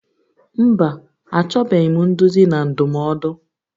Mba, achọbeghị m nduzi na ndụmọdụ